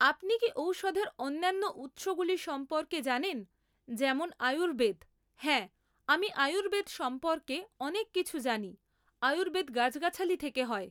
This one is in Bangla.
আপনি কি ঔষধের অন্যান্য উৎসগুলি সম্পর্কে জানেন যেমন আয়ুর্বেদ হ্যাঁ আমি আয়ুর্বেদ সম্পর্কে অনেক কিছু জানি আয়ুর্বেদ গাছগাছালি থেকে হয়